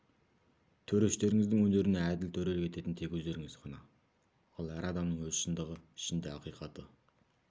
төрештеріңіздің өнеріне әділ төрелік ететін тек өздеріңіз ғана ал әр адамның өз шындығы ішінде ақиқаты